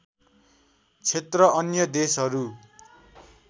क्षेत्र अन्य देशहरू